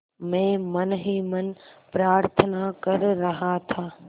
मैं मन ही मन प्रार्थना कर रहा था